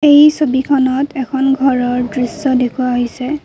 এই ছবিখনত এখন ঘৰৰ দৃশ্য দেখুওৱা হৈছে।